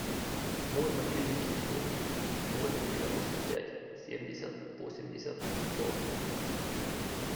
мой мобильный телефон ноль девяносто пять семьдесят восемьдесят сто